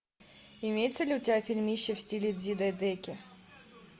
имеется ли у тебя фильмище в стиле дзидайгэки